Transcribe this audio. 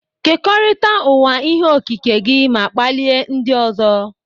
Kekọrịta ụwa ihe okike gị ma kpalie ndị ọzọ.